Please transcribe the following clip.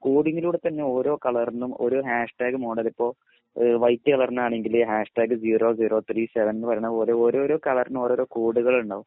കോഡിങ്ങിലൂടെ തന്നെ ഓരോ കളറിനും ഓരോ ഹാഷ്ടാഗ് മോഡൽ ഇപ്പൊ ഈഹ് വൈറ്റ് കളറിനാണെങ്കിൽ hashtag zero zero three seven എന്ന് പറയുന്ന പോലെ ഓരോരോ കളറിനും ഓരോരോ കോഡുകളുണ്ടണ്ടാവും